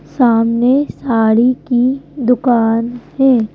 सामने साड़ी की दुकान है।